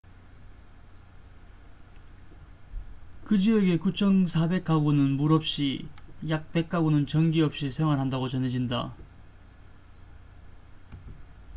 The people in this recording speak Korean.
그 지역의 9400가구는 물 없이 약 100가구는 전기 없이 생활한다고 전해진다